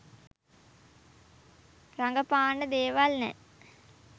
රඟපාන්න දේවල් නෑ